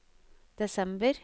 desember